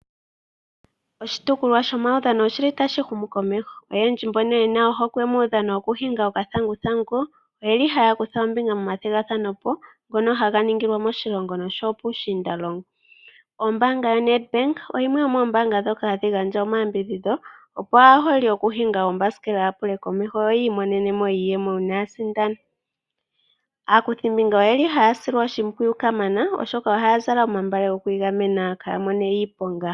Oshitopolwa shomaudhano oshi li tashi humu komeho. Oyendji mbono ye na ohokwe muudhano wokuhinga okathanguthangu oye li haya kutha ombinga momathigathano ngono haga ningilwa moshilongo osho wo puushiindalongo. Ombaanga yoNedbank oyili yimwe yomoombanga ndhoka hadhi gandja omayambidhidho opo aaholi yokuhinga oombasikela ya pule komeho yo yi imonene mo iiyemo uuna ya sindana. Aakuthimbinga oyeli haya silwa oshimpwiyu kamana oshoka ohaya zala omagala gokwiigamena kaaya mone iiponga.